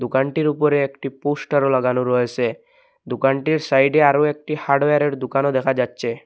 দোকানটির উপরে একটি পোস্টারও লাগানো রয়েছে দোকানটির সাইডে আরো একটি হার্ডওয়ারের দোকানও দেখা যাচ্ছে।